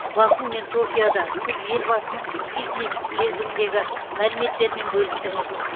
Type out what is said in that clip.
баку мен токиода сіз елбасының фитнес білезігіндегі мәліметтермен бөлістіңіз